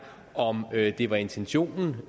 om det var intentionen